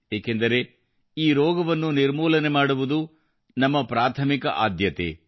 ಏಕೆಂದರೆ ಈ ರೋಗವನ್ನು ನಿರ್ಮೂಲನೆ ಮಾಡುವುದು ಇಂದು ನಮ್ಮ ಪ್ರಾಥಮಿಕ ಆದ್ಯತೆಯಾಗಿದೆ